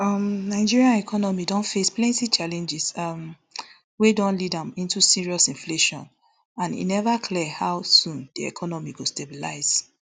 um nigeria economy don face plenty challenges um wey don lead am into serious inflation and e never clear how soon di economy go stabilise